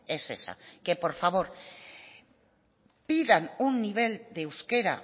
es esa que por favor pidan un nivel de euskera